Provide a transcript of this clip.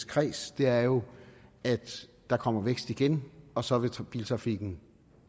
kreds er jo at der kommer vækst igen og så vil biltrafikken